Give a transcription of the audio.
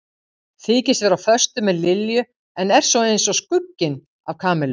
Þykist vera á föstu með Lilju en er svo eins og skugginn af Kamillu.